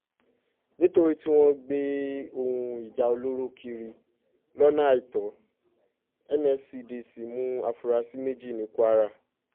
nítorí tí wọ́n ń gbé ohun ìjà olóró kiri lọ́nà àìtó nscdc mú àfúrásì méjì ní kwara